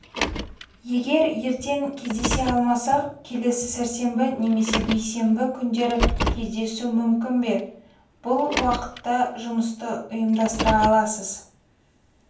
егер ертең кездесе алмасақ келесі сәрсенбі немесе бейсенбі күндері кездесу мүмкін бе бұл уақытта жұмысты ұйымдастыра аласыз